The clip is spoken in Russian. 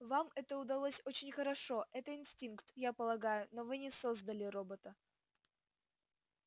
вам это удалось очень хорошо это инстинкт я полагаю но вы не создали робота